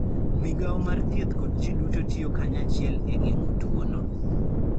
Migawo mar thieth kod ji duto tiyo kanyachiel e geng'o tuwono.